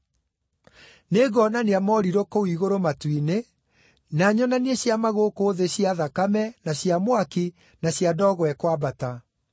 Nĩngonania morirũ kũu igũrũ matu-inĩ, na nyonanie ciama gũkũ thĩ, cia thakame, na cia mwaki, na cia ndogo ĩkwambata.